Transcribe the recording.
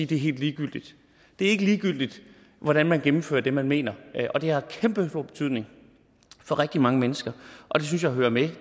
det er helt ligegyldigt det er ikke ligegyldigt hvordan man gennemfører det man mener og det har kæmpestor betydning for rigtig mange mennesker og det synes jeg hører med